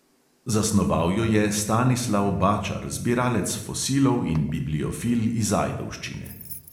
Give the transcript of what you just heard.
Zasnoval jo je stanislav bačar, zbiralec fosilov in bibliofil iz ajdovščine.